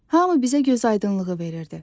Hamı bizə gözaydınlığı verirdi.